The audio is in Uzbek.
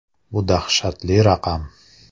Bu dahshatli raqam.